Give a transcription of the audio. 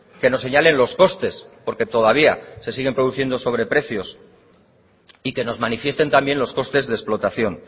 que nos señalen los costes porque todavía se siguen produciendo sobreprecios y que nos manifiesten también los costes de explotación